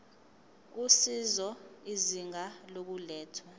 usizo izinga lokulethwa